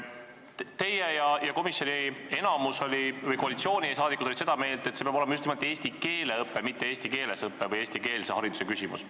Teie ja komisjoni enamus või koalitsiooniliikmed olid seda meelt, et see peab olema just nimelt eesti keele õpe, mitte eesti keeles õpe või eestikeelse hariduse küsimus.